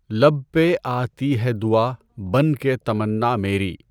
ہلب پہ آتی ہے دعا بن کے تمنا میری